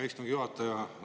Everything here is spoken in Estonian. Hea istungi juhataja!